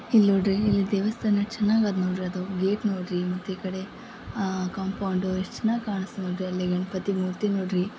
ಇಲ್ಲೊಡ್ರಿ ಇಲ್ಲಿ ದೇವಸ್ಥಾನ ಚೆನಾಗದ ನೋಡ್ರಿ ಅದು. ಗೇಟ್ ನೋಡ್ರಿ ಮತ್ತೆ ಈ ಕಡೆ ಆ ಕಾಂಪೌಂಡ್ ಎಷ್ಟ್ ಚೆನ್ನಾಗಿ ಕಾಣಸ್ತಿದೆ ಅಲ್ಲಿ ಗಣಪತಿ ಮೂರ್ತಿ ನೋಡ್ರಿ.